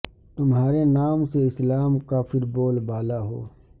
تمہارے نام سے اسلام کا پھر بول بالا ہو